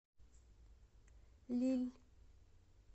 лилль